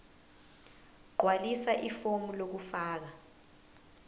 gqwalisa ifomu lokufaka